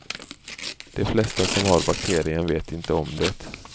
De flesta som har bakterien vet inte om det.